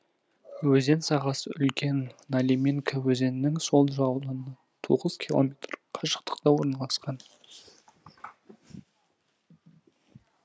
өзен сағасы үлкен налиминка өзенінің сол жағалауынан тоғыз километр қашықтықта орналасқан